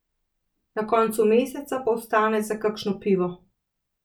Na koncu meseca pa ostane za kakšno pivo.